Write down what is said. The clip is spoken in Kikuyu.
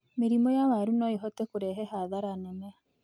Mĩrimu ya waru no ĩhote kũrehe hathara nene.